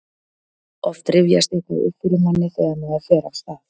oft rifjast eitthvað upp fyrir manni þegar maður fer af stað